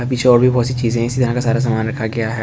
अभी चीज़े सारा सामान रखा गया है।